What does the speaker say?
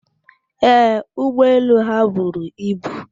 Ee, ụgbọelu ha buru ibu.